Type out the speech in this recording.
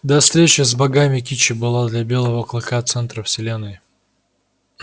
до встречи с богами кичи была для белого клыка центром вселенной